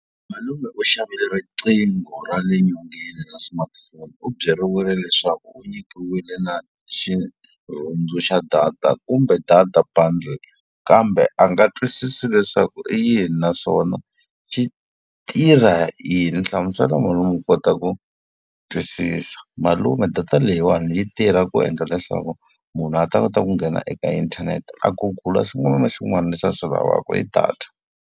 Malume u xavile riqingho ra le nyongeni ra smartphone. U byeriwile leswaku u nyikiwile na xirhundzu xa data kumbe data bundle kambe a nga twisisi leswaku i yini na swona xi tirha yini. Hlamusela malume a kota ku twisisa. Malume data leyiwani yi tirha ku endla leswaku munhu a ta kota ku nghena eka inthanete a Google-a xin'wana na xin'wana lexi a swi lavaka hi data.